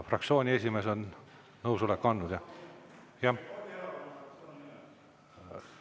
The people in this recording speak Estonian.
Fraktsiooni esimees on nõusoleku andnud, jah?